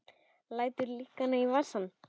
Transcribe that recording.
Lætur lyklana í vasann.